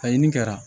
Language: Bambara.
Ka ɲini kɛra